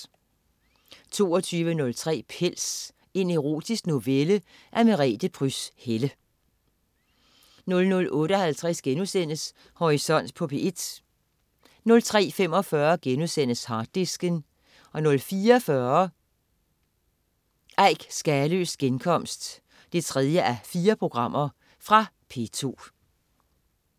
22.03 Pels. En erotisk novelle af Merete Pryds Helle 00.58 Horisont på P1* 03.45 Harddisken* 04.45 Eik Skaløes genkomst 3:4. Fra P2